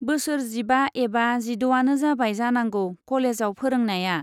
बोसोर जिबा एबा जिड'आनो जाबाय जानांगौ कलेजाव फोरोंनाया।